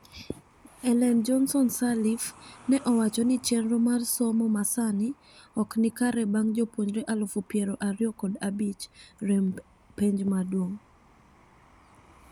Ellen Johnson Sirleaf, ne owacho ni chenro mar somo masani ok nikare bang jopunjre alufu piero ariyo kod abich rem epenj maduong.